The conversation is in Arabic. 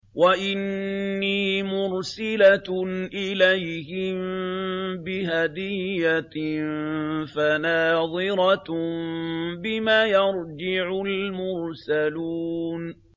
وَإِنِّي مُرْسِلَةٌ إِلَيْهِم بِهَدِيَّةٍ فَنَاظِرَةٌ بِمَ يَرْجِعُ الْمُرْسَلُونَ